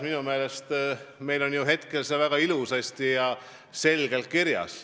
Minu meelest on see põhimõte meil väga selgelt kirjas.